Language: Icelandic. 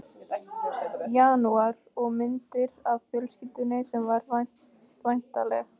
janúar, og myndir af fjölskyldunni sem var væntanleg.